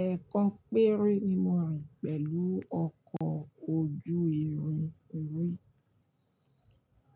Ẹ̀ẹ̀kan péré ni mo rìn pẹ̀lú ọkọ̀ ojú irin rí,